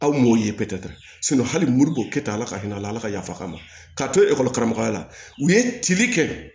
Aw m'o ye pɛtɛ tɛ hali mori ko kɛ tan ala ka hinɛ a la ala ka yafa ma ka to ekɔli karamɔgɔya la u ye tilike kɛ